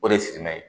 O de ye sifinna ye